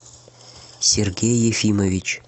сергей ефимович